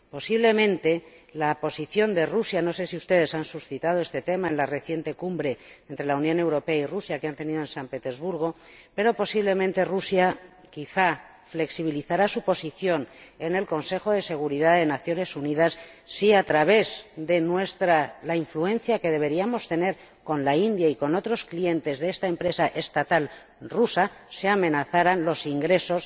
Posiblemente, Rusia —no sé si ustedes han suscitado este tema en la reciente cumbre entre la Unión Europea y Rusia que ha tenido lugar en San Petersburgo— flexibilizará su posición en el Consejo de Seguridad de las Naciones Unidas si, a través de la influencia que deberíamos tener con la India y con otros clientes de esta empresa estatal rusa, se amenazaran sus ingresos